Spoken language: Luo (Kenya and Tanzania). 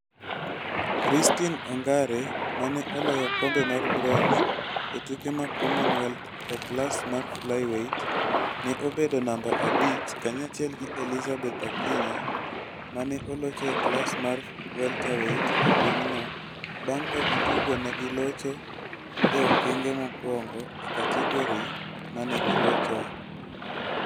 Christine Ongare ma ne oloyo okombe mar bronze e tuke mag Commonwealth e klas mar flyweight, ne obedo namba abich kanyachiel gi Elizabeth Akinyi ma ne olocho e klas mar welterweight e pinyno bang ' ka giduto ne gilocho e okenge mokwongo e kategorie ma ne gilochoe.